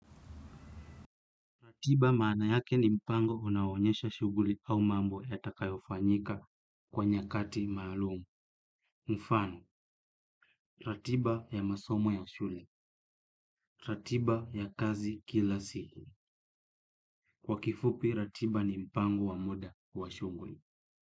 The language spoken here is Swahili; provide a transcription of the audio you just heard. Ratiba maana yake ni mpango unawonyesha shughuli au mambo ya takayofanyika kwa nyakati maalumu. Mfano, ratiba ya masomo ya shuli, ratiba ya kazi kila siku. Kwa kifupi, ratiba ni mpango wa muda wa shughuli.